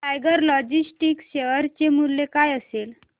tiger Logistics share चे मूल्य काय असेल